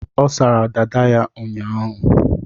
Ọ sara dada ya ụnyaahụ.